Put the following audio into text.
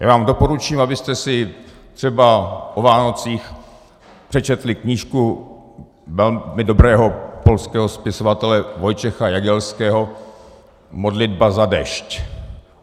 Já vám doporučím, abyste si třeba o Vánocích přečetli knížku velmi dobrého polského spisovatele Wojciecha Jagielskeho Modlitba za déšť.